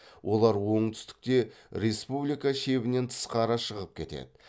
олар оңтүстікте республика шебінен тысқары шығып кетеді